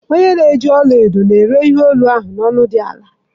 Onye na-eji ọla edo na-ere ihe olu ahụ na ọnụ ala dị ọnụ ala